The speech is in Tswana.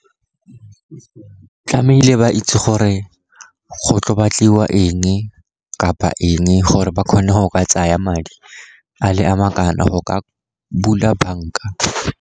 Tlamehile ba itse gore go tlo batliwa eng kapa eng, gore ba kgone go ka tsaya madi a le a makana go ka bula banka.